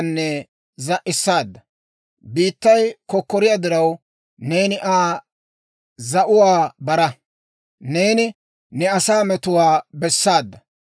New yayyiyaawanttu, barenttu morkkiyaa wonddaafiyaappe attana mala, malaa immaadda.